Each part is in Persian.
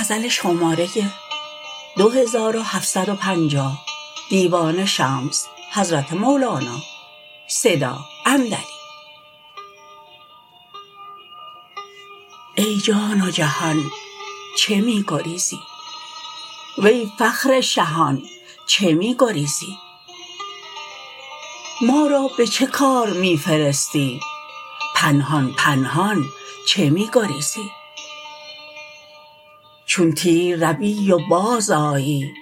ای جان و جهان چه می گریزی وی فخر شهان چه می گریزی ما را به چه کار می فرستی پنهان پنهان چه می گریزی چون تیر روی و بازآیی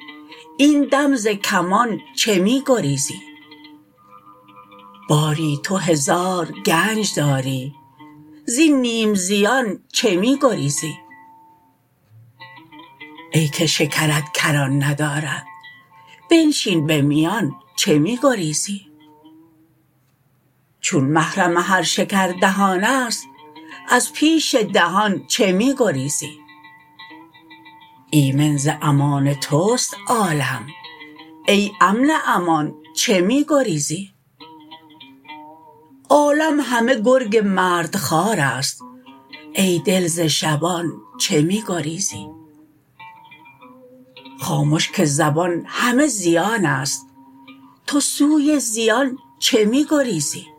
این دم ز کمان چه می گریزی باری تو هزار گنج داری زین نیم زیان چه می گریزی ای که شکرت کران ندارد بنشین به میان چه می گریزی چون محرم هر شکر دهان است از پیش دهان چه می گریزی ایمن ز امان توست عالم ای امن امان چه می گریزی عالم همه گرگ مردخوار است ای دل ز شبان چه می گریزی خامش که زبان همه زیان است تو سوی زیان چه می گریزی